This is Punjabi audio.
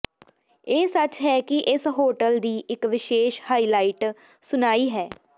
ਇਹ ਸੱਚ ਹੈ ਕਿ ਇਸ ਹੋਟਲ ਦੀ ਇੱਕ ਵਿਸ਼ੇਸ਼ ਹਾਈਲਾਈਟ ਸੁਣਾਈ ਹੈ